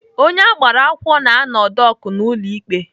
Onye agbara akwụkwọ na-anọ dọk n'ụlọ ikpe.